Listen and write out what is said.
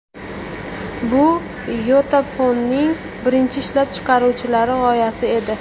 Bu YotaPhone’ning birinchi ishlab chiqaruvchilari g‘oyasi edi.